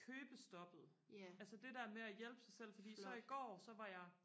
købestoppet altså det der med at hjælpe sig selv fordi så i går så var jeg